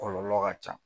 Kɔlɔlɔ ka ca